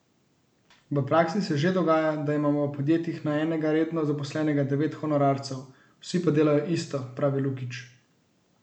V praksi se že dogaja, da imamo v podjetjih na enega redno zaposlenega devet honorarcev, vsi pa delajo isto, pravi Lukič.